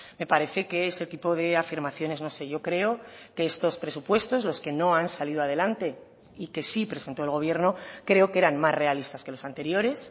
me parece que ese tipo de afirmaciones no sé yo creo que estos presupuestos los que no han salido adelante y que sí presentó el gobierno creo que eran más realistas que los anteriores